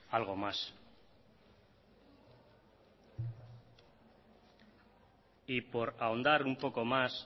algo más y por ahondar un poco más